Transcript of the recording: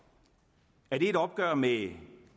er det et opgør med